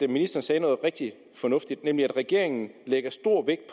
ministeren sagde noget rigtig fornuftigt nemlig at regeringen lægger stor vægt